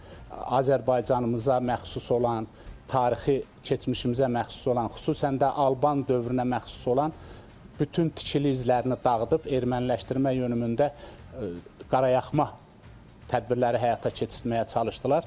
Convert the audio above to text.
Yəni Azərbaycanımıza məxsus olan tarixi, keçmişimizə məxsus olan, xüsusən də Alban dövrünə məxsus olan bütün tikili izlərini dağıdıb erməniləşdirmə yönümündə qaralaxma tədbirləri həyata keçirtməyə çalışdılar.